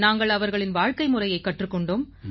நாங்கள் அவர்களின் வாழ்க்கைமுறையைக் கற்றுக் கொண்டோம்